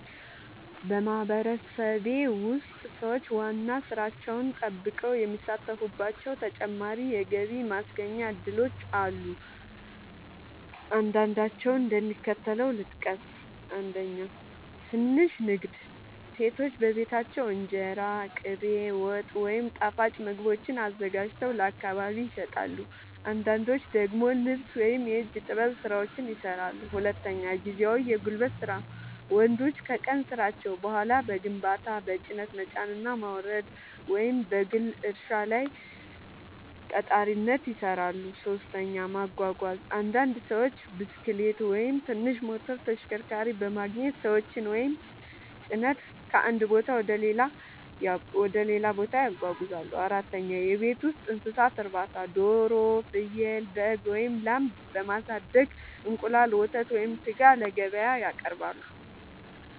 በማህበረሰቤ ውስጥ ሰዎች ዋና ሥራቸውን ጠብቀው የሚሳተፉባቸው ተጨማሪ የገቢ ማስገኛ እድሎች አሉ። አንዳንዶቹን እንደሚከተለው ልጠቅስ፦ 1. ትንሽ ንግድ – ሴቶች በቤታቸው እንጀራ፣ ቅቤ፣ ወጥ ወይም ጣፋጭ ምግቦችን አዘጋጅተው ለአካባቢ ይሸጣሉ። አንዳንዶች ደግሞ ልብስ ወይም የእጅ ጥበብ ሥራዎችን ይሠራሉ። 2. ጊዜያዊ የጉልበት ሥራ – ወንዶች ከቀን ሥራቸው በኋላ በግንባታ፣ በጭነት መጫንና ማውረድ፣ ወይም በግል እርሻ ላይ ቀጣሪነት ይሠራሉ። 3. ማጓጓዝ – አንዳንድ ሰዎች ብስክሌት ወይም ትንሽ ሞተር ተሽከርካሪ በማግኘት ሰዎችን ወይም ጭነት ከአንድ ቦታ ወደ ሌላ ያጓጉዛሉ። 4. የቤት ውስጥ እንስሳት እርባታ – ዶሮ፣ ፍየል፣ በግ ወይም ላም በማሳደግ እንቁላል፣ ወተት ወይም ሥጋ ለገበያ ያቀርባሉ።